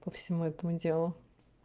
по всему этому делу